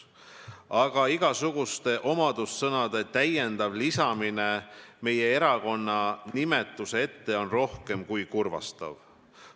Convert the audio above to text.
Aga igasuguste omadussõnade täiendav lisamine meie erakonna nimetuse ette on rohkem kui kurvastav.